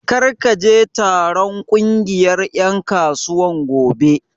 Kar ka je taron ƙungiyar ƴan kasuwar gobe!